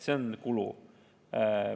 See on kulu.